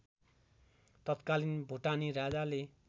तत्कालीन भुटानी राजाले